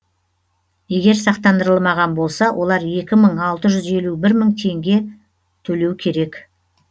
егер сақтандырылмаған болса олар екі мың алты жүз елу бір теңге төлеу керек